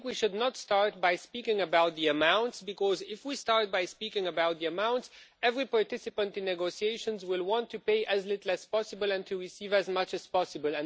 We should not start by speaking about the amount, because if we start by speaking about the amount, every participant in the negotiations will want to pay as little as possible and to receive as much as possible.